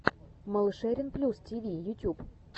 малышерин плюс тиви ютюб